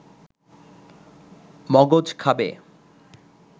মগজ খাবে